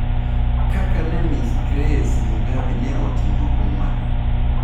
Kaka Miss Grace Mugabe ne oting'o huma.